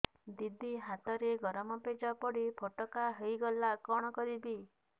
ଦିଦି ହାତରେ ଗରମ ପେଜ ପଡି ଫୋଟକା ହୋଇଗଲା କଣ କରିବି